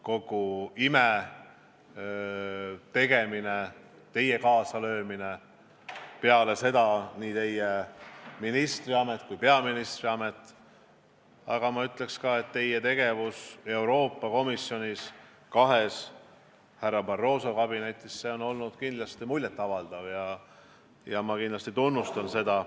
Kogu IME tegemine, teie kaasalöömine peale seda nii ministri- kui peaministriametis, aga ma ütleks ka, et teie tegevus Euroopa Komisjonis kahes härra Barroso kabinetis – see on olnud kindlasti muljet avaldav ja ma kindlasti tunnustan seda.